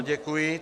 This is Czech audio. Ano, děkuji.